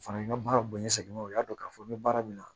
O fana ka baara bonyan seginnen u y'a dɔn k'a fɔ n bɛ baara min na